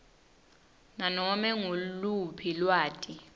nanome nguluphi lwati